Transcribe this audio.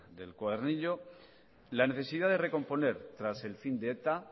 del cuadernillo la necesidad de recomponer tras el fin de eta